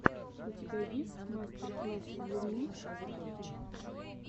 у тебя есть мастер класс луны архив